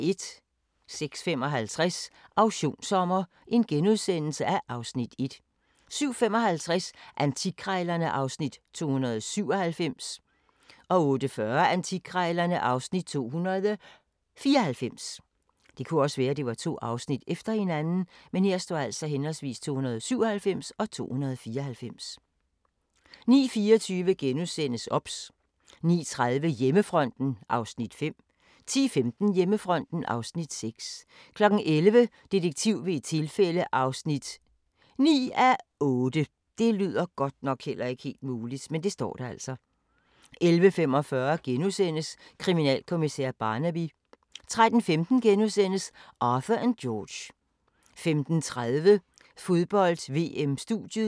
06:55: Auktionssommer (Afs. 1)* 07:55: Antikkrejlerne (Afs. 297) 08:40: Antikkrejlerne (Afs. 294) 09:24: OBS * 09:30: Hjemmefronten (Afs. 5) 10:15: Hjemmefronten (Afs. 6) 11:00: Detektiv ved et tilfælde (9:8) 11:45: Kriminalkommissær Barnaby * 13:15: Arthur & George * 15:30: Fodbold: VM - Studiet